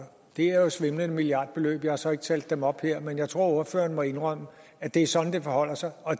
det er jo svimlende milliardbeløb jeg har så ikke talt dem op her men jeg tror at ordføreren må indrømme at det er sådan det forholder sig og